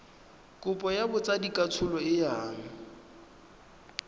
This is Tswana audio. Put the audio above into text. kopo ya botsadikatsholo e yang